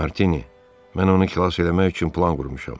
Martini, mən onu xilas eləmək üçün plan qurmuşam.